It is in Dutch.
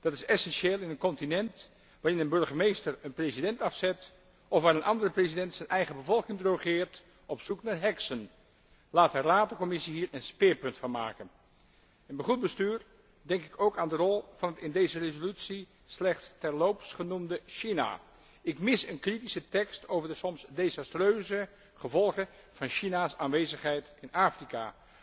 Dat is essentieel in een continent waarin een burgemeester een president afzet of waar een andere president zijn eigen bevolking drogeert op zoek naar heksen. Laat de Raad en de Commissie hier een speerpunt van maken. Bij goed bestuur denk ik ook aan de rol van het in deze resolutie slechts terloops genoemde China. Ik mis een kritische noot over de soms desastreuze gevolgen van China's aanwezigheid in Afrika.